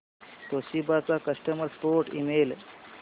Toshiba चा customer support email